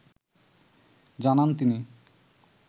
জানান তিনি